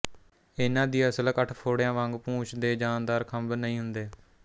ਇਹਨਾਂ ਦੀ ਅਸਲ ਕਠਫੋੜਿਆਂ ਵਾਂਗ ਪੂਛ ਦੇ ਜਾਨਦਾਰ ਖੰਭ ਨਹੀਂ ਹੁੰਦੇ